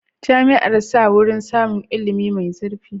Jami'ar sa wurin samun ilimi mai zurfi.